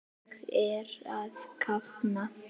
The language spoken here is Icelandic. Ég er að kafna.